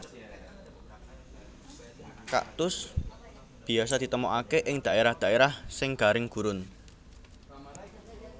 Kaktus biasa ditemokaké ing dhaérah dhaérah sing garing gurun